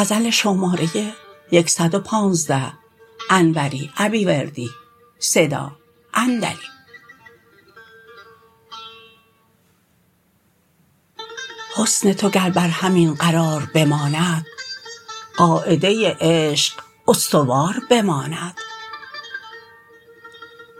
حسن تو گر بر همین قرار بماند قاعده عشق استوار بماند